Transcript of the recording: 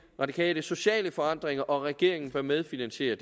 radikale sociale forandringer og at regeringen bør medfinansiere